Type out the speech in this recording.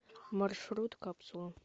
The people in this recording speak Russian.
маршрут капсула